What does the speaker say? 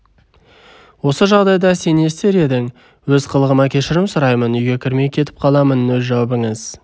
осы жағдайда сен не істер едің өз қылығыма кешірім сұраймын үйге кірмей кетіп қаламын өз жауабыңыз